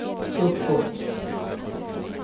uppåt